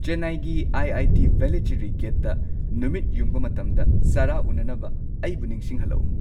ꯆꯦꯟꯅꯥꯏꯒꯤ ꯑꯥꯏ.ꯑꯥꯏ.ꯇꯤ ꯚꯦꯂꯥꯆꯦꯔꯤ ꯒꯦꯠꯇ ꯅꯨꯃꯤꯠ ꯌꯨꯡꯕ ꯃꯇꯝꯗ ꯁꯥꯔꯥ ꯎꯅꯅꯕ ꯑꯩꯕꯨ ꯅꯤꯡꯁꯤꯡꯍꯜꯂꯛꯎ